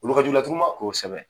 Kolo ka jugu laturu ma, kosɛbɛ.